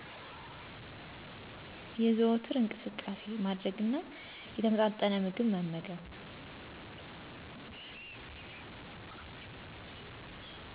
የዘወትር እንቅስቃሴ ማድረግ እና የተመጣጠነ ምግብ መመገብ።